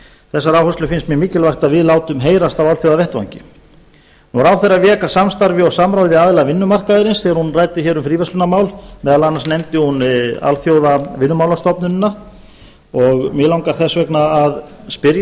þessar áherslur finnst mér mikilvægt að við látum heyrast á alþjóðavettvangi ráðherra vék að samstarfi og samráði við aðila vinnumarkaðarins þegar hún ræddi um fríverslunarmál meðal annars nefndi hún alþjóðavinnumálastofnunina og mig langar þess vegna að spyrja